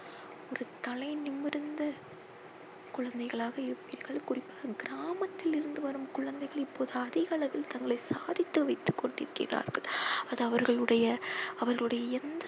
ஒரு தலை நிமிர்ந்த குழந்தைகளாக இருப்பீர்கள். குறிப்பாக கிராமத்தில் இருந்து வரும் குழந்தைகள் இப்பொழுது அதிக அளவில் தங்களை சாதித்து விட்டு கொண்டிருக்கிறார்கள். அது அவர்களுடைய அவர்களுடைய எந்த